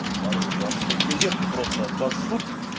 тупорылый вам блять газетку просто обоссут